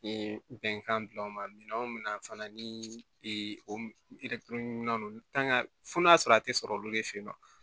Ee bɛnkan gilan o ma minɛn o mina fana ni o don fo n'a sɔrɔ a tɛ sɔrɔ olu de fe yen nɔ